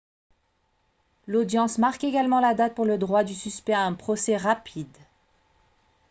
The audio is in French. l'audience marque également la date pour le droit du suspect à un procès rapide